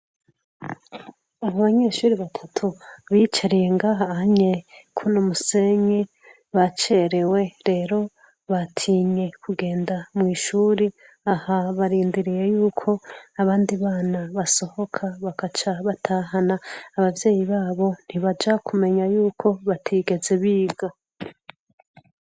Abanyeshure batatu bicariye ngaho onye kuno musenyi bacerewe rero batinye kugenda mw'ishure aha barindiriye yuko abandi bana basohoka bagaca batahana abavyeyi babo ntibaja kumenya yuko batigeze biga.